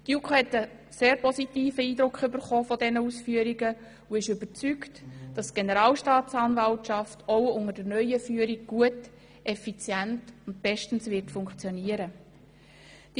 Die JuKo gewann anhand dieser Ausführungen einen sehr positiven Eindruck und ist überzeugt, dass die Generalstaatsanwaltschaft auch unter der neuen Führung effizient und bestens funktionieren wird.